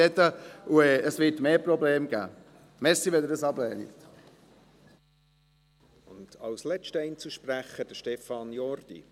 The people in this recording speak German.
Ich habe das Gefühl, dass wir nachher weniger mitreden können und es mehr Probleme geben wird.